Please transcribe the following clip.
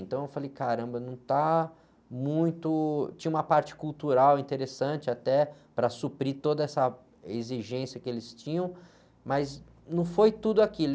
Então, eu falei, caramba, não está muito... Tinha uma parte cultural interessante até para suprir toda essa exigência que eles tinham, mas não foi tudo aquilo.